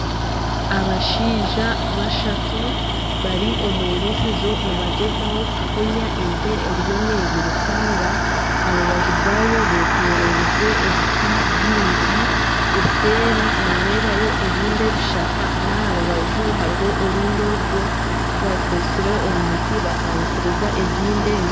Abashaija bashatu bari omu irisizo nibagyezaho kufunya ente eriyo neyirukanga ,aharubaju rwaayo betororize ebiti byingi eseeri noreebayo ebindi ebishaka naharubaju hariho orundi orugo barukozire omu miti batangisiriza ezindi ente.